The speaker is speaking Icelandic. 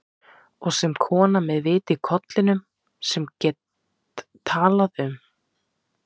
Og sem kona með vit í kollinum, sem get talað um